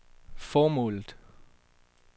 formålet